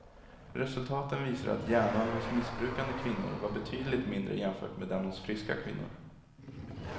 Resultaten visar att hjärnan hos missbrukande kvinnor var betydligt mindre jämfört med den hos friska kvinnor.